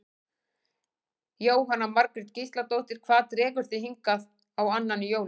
Jóhanna Margrét Gísladóttir: Hvað dregur þig hingað á annan í jólum?